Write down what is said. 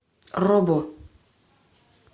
робо